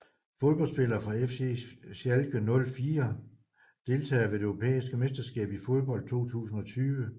Fodboldspillere fra FC Schalke 04 Deltagere ved det europæiske mesterskab i fodbold 2020